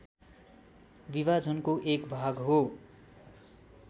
विभाजनको एक भाग हो